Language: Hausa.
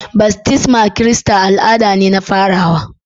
Baftismar Kirista al'ada ce ta farawa